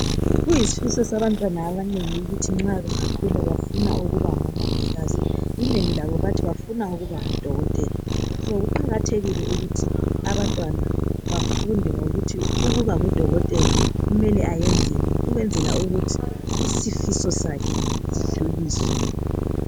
Kuyisifiso sabantwana abanengi ukuthi nxa bangakhula bafuna ukuba ngomongikazi. Inengi labo lithi lifuna ukuba ngodokotela. So kuqakathekile ukuthi abantwana bafunde ngokuthi ukuba ngudokotela kumele ayenzeni ukwenzela ukuthi isifiso sakhe sidluliswe.